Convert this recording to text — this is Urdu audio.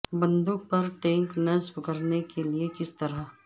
بندوق پر ٹینک نصب کرنے کے لئے کس طرح